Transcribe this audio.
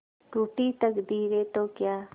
रूठी तकदीरें तो क्या